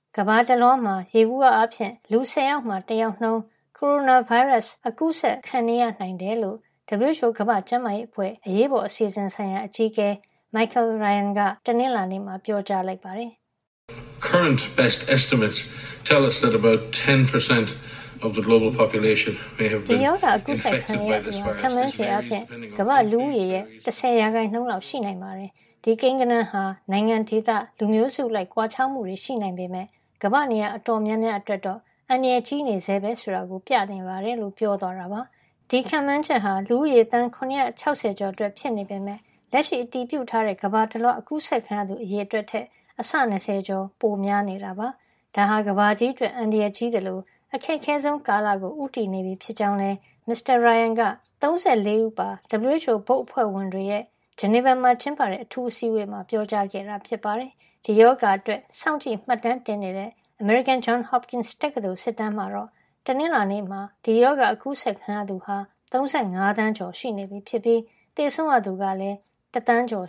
ကမ္ဘာတလွှားမှာ ယေဘူယျ အားဖြင့် လူ၁၀ ယောက်မှာ တယောက်နှုန်း ကိုရိုနာဗိုင်းရပ်စ် အကူးစက် ခံနေရ နိုင်တယ်လို့ WHO ကမ္ဘာ့ကျန်းမာရေးအဖွဲ့ အရေးပေါ်အစီအစဉ် ဆိုင်ရာ အကြီးအကဲ Michael Ryan က တနင်္လာနေ့မှာ ပြောကြားလိုက်ပါတယ်။ "ဒီရောဂါအကူးစက်ခံနေရသူဟာ ခန့်မှန်းချေအားဖြင့် ကမ္ဘာ့လူဦးရေရဲ့ ၁၀ ရာခိုင်နှုန်း လောက်ရှိနိုင် ပါတယ်။ ဒီကိန်းဂဏန်းဟာ နိုင်ငံ၊ ဒေသ၊ လူမျိုးစု အလိုက် ကွာခြားမှုရှိနိုင်ပေမယ့် ကမ္ဘာ့ နေရာ အတော်များများ အတွက်တော့ အန္တရာယ်ကြီးနေဆဲပဲ ဆိုတာ ပြနေပါတယ်" လို့ ပြောသွားတာပါ။ ဒီခန့်မှန်းချက်အရ လူဦးရေ သန်း ၇၆၀ ကျော်မှာ ဖြစ်ပွါးနေတာ ဖြစ်ပြီး ဒါဟာ လက်ရှိ အတည်ပြုထားတဲ့ ကမ္ဘာတလွှား အကူးစက်ခံရသူ အရေအတွက်ထက် အဆ ၂၀ ကျော် ပိုများနေတာပါ။ ဒါဟာ ကမ္ဘာကြီးအတွက် အန္တရာယ်ကြီးသလို အခက်ခဲဆုံးကာလကို ဦးတည်နေပြီဖြစ်ကြောင်းလည်း Michael Ryan က ၃၄ ဦးပါ WHO ဘုတ်အဖွဲ့ဝင်တွေရဲ့ Geneva မှာ ကျင်းပတဲ့ အထူးအစည်းအဝေးမှာ ပြောကြားခဲ့တာ ဖြစ်ပါတယ်။ ဒီရောဂါအတွက် စောင့်ကြည့်မှတ်တမ်းတင်နေတဲ့ အမေရိကန် Johns Hopkins တက္ကသိုလ် စစ်တမ်းမှာတော့ တနင်္လာနေ့မှာ ဒီရောဂါ အကူးစက်ခံရသူဟာ ၃၅ သန်းကျော် (၃၅,၃၁၉,၁၃၉ )နေပြီဖြစ်ပြီး၊ သေဆုံးရသူကလည်း ၁ သန်းကျော်